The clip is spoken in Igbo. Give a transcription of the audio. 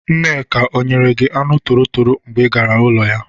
Nneka ọ nyere gị anụ torotoro mgbe ị gara ụlọ ya?